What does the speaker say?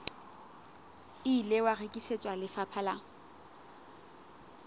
ile wa rekisetswa lefapha la